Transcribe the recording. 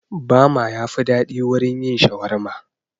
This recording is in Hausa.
Bama yafi daɗi wurin yin shawarma